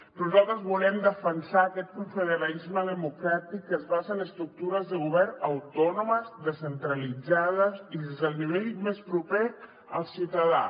però nosaltres volem defensar aquest confederalisme democràtic que es basa en estructures de govern autònomes descentralitzades i des del nivell més proper al ciutadà